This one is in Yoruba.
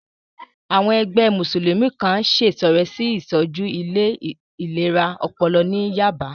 Àwọn ẹgbẹ́ Mùsùlùmí kan ṣètọrẹ sí ìtọ́jú ilé ìlera ọpọlọ ní Yába